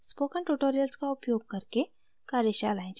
spoken tutorials का उपयोग अकरके कार्यशालाएं चलाती है